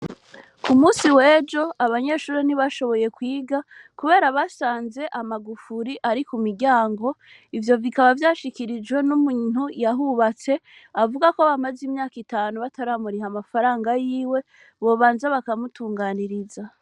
Ku musi wejo abanyeshuri ntibashoboye kwiga, kubera basanze amagufuri ari ku miryango ivyo bikaba vyashikirijwe n'umwntu yahubatse avuga ko bamaze imyaka itanu bataramuriha amafaranga yiwe bobanza bakamutunganiriza.